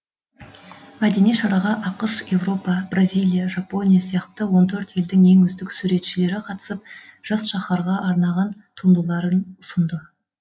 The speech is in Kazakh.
мәдени шараға ақш еуропа бразиялия жапония сияқты он төрт елдің ең үздік суретшілері қатысып жас шаһарға арнаған туындыларын ұсынды